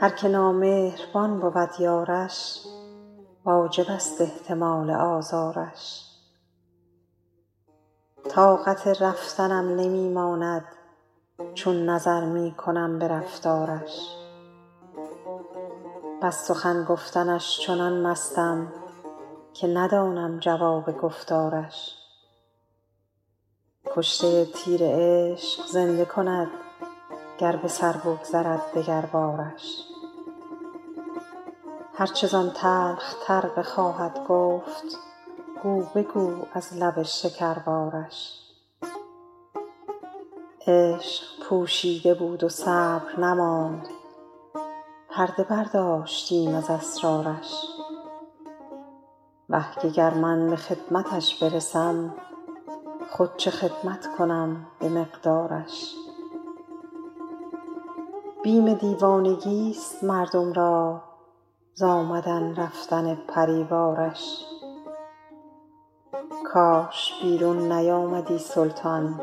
هر که نامهربان بود یارش واجب است احتمال آزارش طاقت رفتنم نمی ماند چون نظر می کنم به رفتارش وز سخن گفتنش چنان مستم که ندانم جواب گفتارش کشته تیر عشق زنده کند گر به سر بگذرد دگربارش هر چه زان تلخ تر بخواهد گفت گو بگو از لب شکربارش عشق پوشیده بود و صبر نماند پرده برداشتم ز اسرارش وه که گر من به خدمتش برسم خود چه خدمت کنم به مقدارش بیم دیوانگیست مردم را ز آمدن رفتن پری وارش کاش بیرون نیامدی سلطان